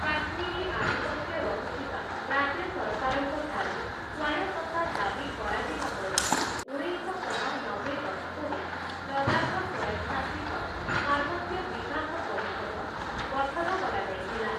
କାଶ୍ମୀରୀ ଆଧିପତ୍ୟ ରହୁଥିବା ରାଜ୍ୟ ସରକାରଙ୍କ ଠାରୁ ସ୍ୱାୟତ୍ତତା ଦାବି କରାଯିବା ପରେ, ଉଣେଇଶଶହ ନବେ ଦଶକରେ ଲଦାଖ ସ୍ୱୟଂଶାସିତ ପାର୍ବତ୍ୟ ବିକାଶ ପରିଷଦ ଗଠନ କରାଯାଇଥିଲା ।